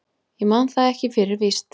Ég man það ekki fyrir víst.